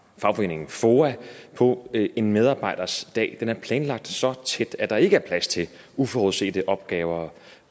fagforeningen foa på en medarbejders dag den er planlagt så tæt at der ikke er plads til uforudsete opgaver